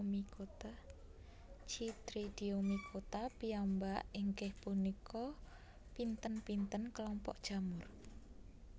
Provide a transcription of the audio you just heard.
Chytridiomycota piyambak inggih punika pinten pinten kelompok jamur